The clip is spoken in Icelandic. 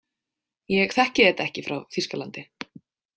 Ég þekki þetta ekki frá Þýskalandi.